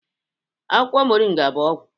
Akwụkwọ moringa bụ ọgwụ